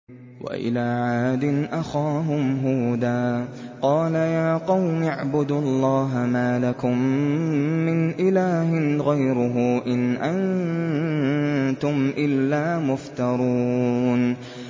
وَإِلَىٰ عَادٍ أَخَاهُمْ هُودًا ۚ قَالَ يَا قَوْمِ اعْبُدُوا اللَّهَ مَا لَكُم مِّنْ إِلَٰهٍ غَيْرُهُ ۖ إِنْ أَنتُمْ إِلَّا مُفْتَرُونَ